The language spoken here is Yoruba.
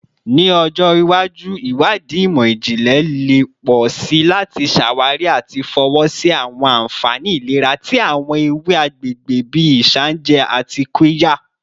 Ni ọjọ iwaju, iwadii imọ-jinlẹ le pọ si lati ṣawari ati fọwọsi awọn anfani ilera ti awọn ewe agbegbe bii isanje ati qirya